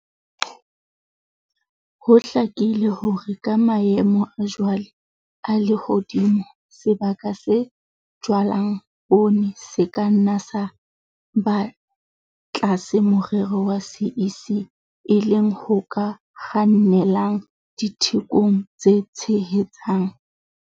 Ho hlakile hore ka maemo a jwale a lehodimo, sebaka se jalwang poone se ka nna sa ba tlasa morero wa CEC, e leng ho ka kgannelang dithekong tse tshehetsang.